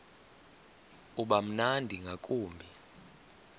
uba mnandi ngakumbi